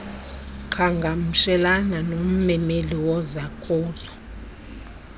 qhagamshelana nommeli wozakuzo